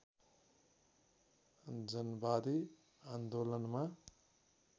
जनवादी आन्दोलनमा